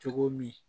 Cogo min